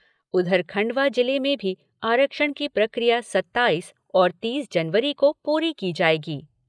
उधर खंडवा जिले में भी आरक्षण की प्रक्रिया सत्ताईस और तीस जनवरी को पूरी की जाएगी।